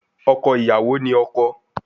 Ọkọ iyawo ni ọkọ